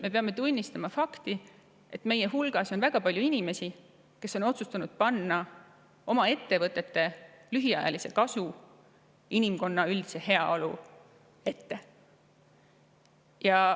Me peame tunnistama fakti, et meie hulgas on väga palju inimesi, kes on otsustanud seada oma ettevõtete lühiajaline kasu inimkonna üldisest heaolust ettepoole.